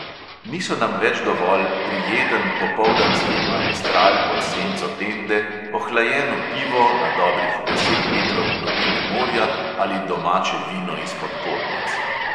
Niso nam več dovolj prijeten popoldanski maestral pod senco tende, ohlajeno pivo na dobrih deset metrov globine morja ali domače vino izpod podnic.